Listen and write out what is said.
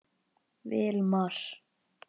Vilmar